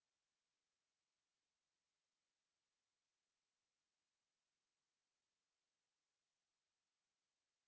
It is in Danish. to